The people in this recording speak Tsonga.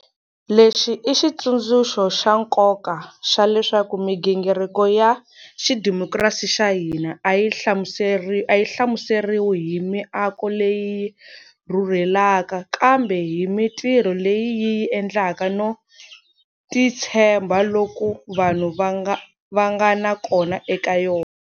Lexi i xitsundzuxo xa nkoka xa leswaku migingiriko ya xidemokirasi xa hina a yi hlamuseriwi hi miako leyi yi rhurhelaka, kambe hi mitirho leyi yi yi endlaka no titshemba loku vanhu va nga na kona eka yona.